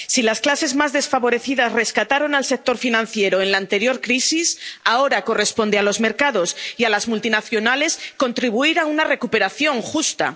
Si las clases más desfavorecidas rescataron al sector financiero en la anterior crisis, ahora corresponde a los mercados y a las multinacionales contribuir a una recuperación justa.